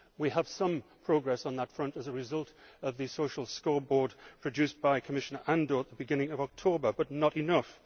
We have seen some progress on that front as a result of the social scoreboard produced by Commissioner Andor at the beginning of October, but not enough.